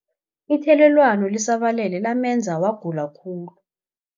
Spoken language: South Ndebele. Ithelelwano lisabalele lamenza wagula khulu.